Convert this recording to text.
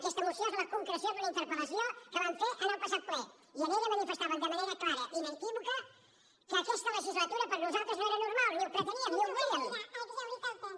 aquesta moció és la concreció d’una interpel·lació que vam fer en el passat ple i en ella manifestàvem de manera i inequívoca que aquesta legislatura per nosaltres no era normal ni ho preteníem ni ho volíem